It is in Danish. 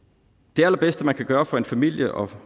det allerbedste man kan gøre for en familie og